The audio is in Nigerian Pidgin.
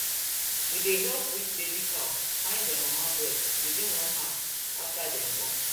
we dey help weak baby cow find their mama breast within one hour after dem born